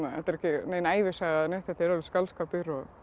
nein ævisaga eða neitt þetta er alveg skáldskapur